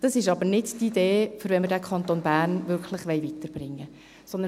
Dies ist aber nicht die Idee, wenn wir den Kanton Bern wirklich weiterbringen wollen.